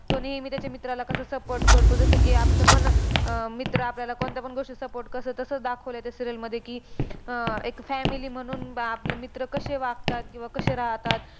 तो नेहमी त्याच्या मित्राला कसा support करतो. जसं की, आपलापण अह मित्र आपल्याला कोणत्यापण गोष्टीत support कसं तसं दाखवलंय त्या serial मध्ये की, अह एक family म्हणून बा आपला मित्र कशे वागतात, किंवा कशे राहतात